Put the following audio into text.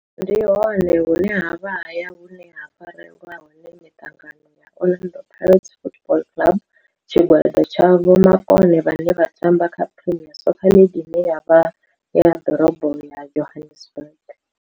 Ndi hone hune havha haya hune ha farelwa hone mitangano ya Orlando Pirates Football Club. Tshigwada tsha vhomakone vhane vha tamba kha Premier Soccer League ine ya vha Dorobo ya Johannesburg.